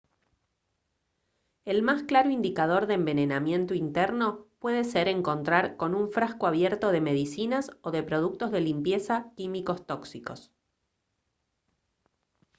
el más claro indicador de envenenamiento interno puede ser encontrar con un frasco abierto de medicinas o de productos de limpieza químicos tóxicos